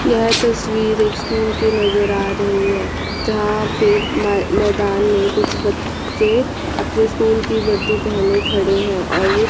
यह तस्वीर एक स्कूल की नज़र आ रही है जहां पे मै मैदान में कुछ बच्चे अपने स्कूल की वर्दी पेहने खड़े हैं और --